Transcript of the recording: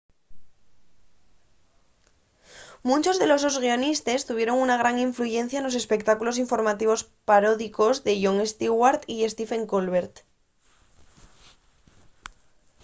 munchos de los sos guionistes tuvieron una gran influyencia nos espectáculos informativos paródicos de jon stewart y stephen colbert